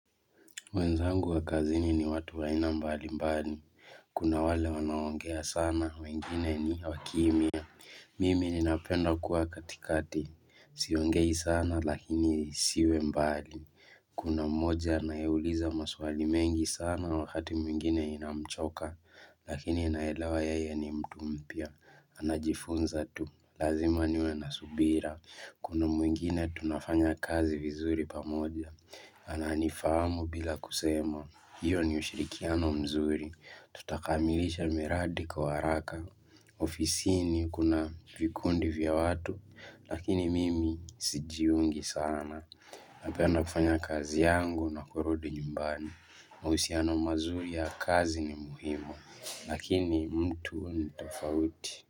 Wenzangu wa kazini ni watu wa aina mbalimbali Kuna wale wanaongea sana wengine ni wakimya Mimi ninapenda kuwa katikati Siongei sana lakini siwembali Kuna mmoja anayeuliza maswali mengi sana wakati mwingine inamchoka Lakini naelewa yeye ni mtu mpya Anajifunza tu Lazima niwe na subira Kuna mwingine tunafanya kazi vizuri pamoja Ananifahamu bila kusema, hiyo ni ushirikiano mzuri, tutakamilisha miradi kwa haraka, ofisini kuna vikundi vya watu, lakini mimi sijiungi sana Napenda kufanya kazi yangu na kurudi nyumbani, mahusiano mazuri ya kazi ni muhimu, lakini mtu ni tofauti.